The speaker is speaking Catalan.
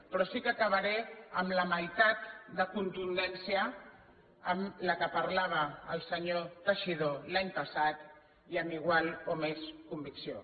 però sí que acabaré amb la meitat de contundència amb què parlava el senyor teixidó l’any passat i amb igual o més convicció